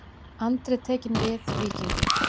Andri tekinn við Víkingum